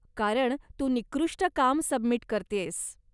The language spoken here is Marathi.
कारण तू निकृष्ट काम सबमिट करतेयस.